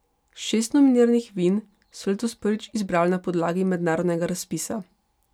Šest nominiranih vin so letos prvič izbrali na podlagi mednarodnega razpisa.